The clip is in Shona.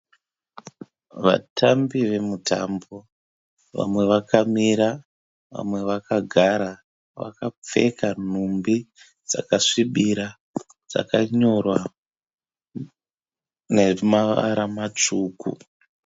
Vatambi vamutambo. Vamwe vakamira vamwe vakagara. Vakapfeka nhumbi dzakasvibira dzakanyora nezvimavara matsvuku.